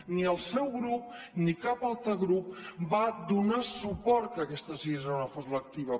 ni el seu grup ni cap altre grup va donar suport que aquesta sisena hora fos lectiva